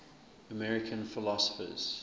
american philosophers